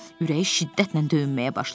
Ürəyi şiddətlə döyünməyə başladı.